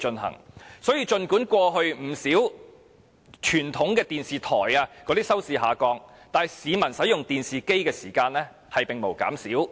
因此，儘管不少傳統電視台的收視率不斷下降，但市民使用電視機的時間並沒有減少。